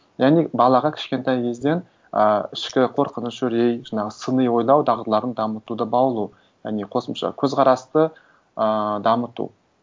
яғни балаға кішкентай кезден ы ішкі қорқыныш үрей жаңағы сыни ойлау дағдыларын дамытуды баулу яғни қосымша көзқарасты ыыы дамыту